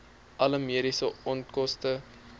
alle mediese onkoste